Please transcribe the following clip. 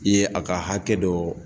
I ye a ka hakɛ dɔ